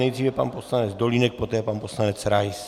Nejdřív pan poslanec Dolínek, poté pan poslanec Rais.